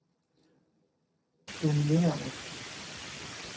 dominerende